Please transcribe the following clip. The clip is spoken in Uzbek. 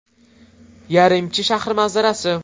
Yaremchi shahri manzarasi.